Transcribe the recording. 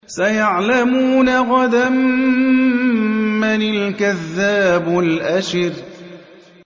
سَيَعْلَمُونَ غَدًا مَّنِ الْكَذَّابُ الْأَشِرُ